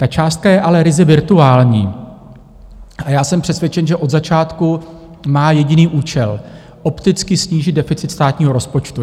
Ta částka je ale ryze virtuální a já jsem přesvědčen, že od začátku má jediný účel - opticky snížit deficit státního rozpočtu.